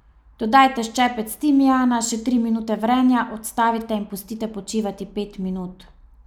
Dodajte ščepec timijana, še tri minute vrenja, odstavite in pustite počivati pet minut.